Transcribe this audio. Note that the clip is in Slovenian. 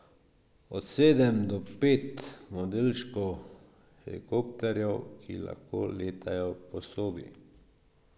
Od sedem do pet modelčkov helikopterjev, ki lahko letajo po sobi.